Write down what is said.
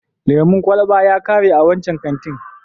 Lemon kwalaba ya kare a wancan kantin.